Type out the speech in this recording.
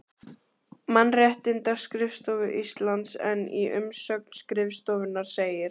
Mannréttindaskrifstofu Íslands en í umsögn skrifstofunnar segir